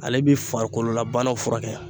Ale bi farikololabanaw furakɛ